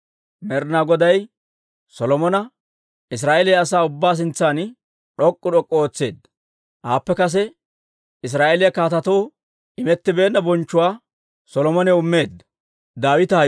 Med'inaa Goday Solomona Israa'eeliyaa asaa ubbaa sintsan d'ok'k'u d'ok'k'u ootseedda; aappe kase Israa'eeliyaa kaatetoo imettibeenna bonchchuwaa Solomonaw immeedda.